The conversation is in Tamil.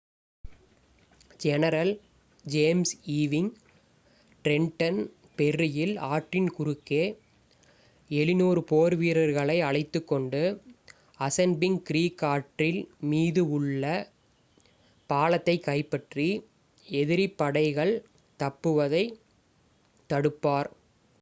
ஜெனரல் ஜேம்ஸ் ஈவிங் டிரென்டன் ஃபெர்ரியில் ஆற்றின் குறுக்கே 700 போர் வீரர்களை அழைத்துக் கொண்டு அசன்பிங்க் க்ரீக் ஆற்றின் மீது உள்ள பாலத்தைக் கைப்பற்றி எதிரிப் படைகள் தப்புவதைத் தடுப்பார்